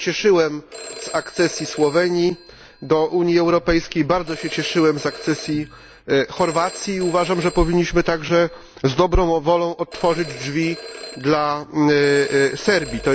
Ja się cieszyłem z akcesji Słowenii do Unii Europejskiej, bardzo się cieszyłem z akcesji Chorwacji i uważam, że powinniśmy także z dobrą wolą otworzyć drzwi dla Serbii.